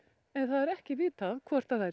en það er ekki vitað hvort þær